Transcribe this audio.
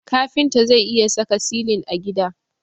Kafinta zai iya saka silin a gida.